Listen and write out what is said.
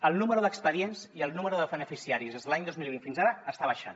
el nombre d’expedients i el nombre de beneficiaris des de l’any dos mil divuit fins ara està baixant